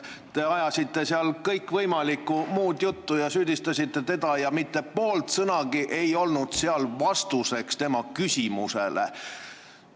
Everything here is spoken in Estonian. Te ajasite kõikvõimalikku muud juttu ja süüdistasite teda ning mitte poole sõnagagi ei vastanud tema küsimusele.